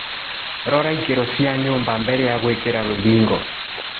Rora ikĩro cia myumba mbele ya gũĩkĩra rũthingo.